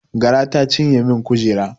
Gara ta cinye min kujera